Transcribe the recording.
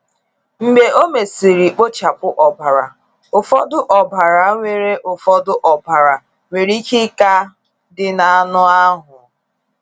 Mgbe ọ mesịrị kpochapụ ọbara, ụfọdụ ọbara nwere ụfọdụ ọbara nwere ike ịka dị na anụ ahụ.